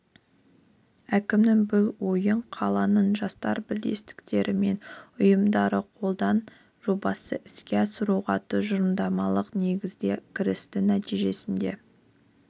әкімнің бұл ойын қаланың жастар бірлестіктері мен ұйымдары қолдап жобасын іске асыруға тұжырымдамалық негізде кірісті нәтижесінде